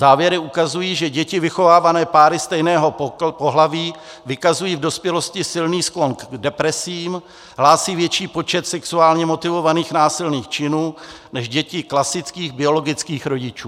Závěry ukazují, že děti vychovávané páry stejného pohlaví vykazují v dospělosti silný sklon k depresím, hlásí větší počet sexuálně motivovaných násilných činů než děti klasických biologických rodičů.